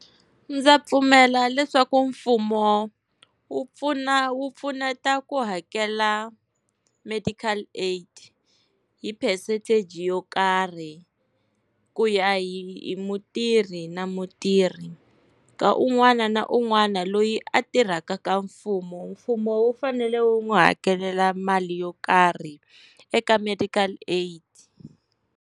Ndza pfumela leswaku mfumo wu pfuna wu pfuneta ku hakela medical aid hi percentage yo karhi ku ya hi mutirhi na mutirhi, ka un'wana na un'wana loyi a tirhaka ka mfumo. Mfumo wu fanele wu n'wi hakelela mali yo karhi eka medical aid.